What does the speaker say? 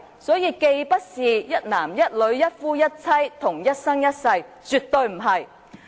所以，既不是一男一女、一夫一妻或一生一世，絕非如此。